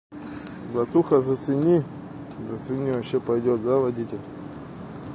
братуха зацени зацени вообще пойдёт да водитель